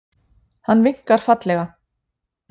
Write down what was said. Hann vinkar fallega.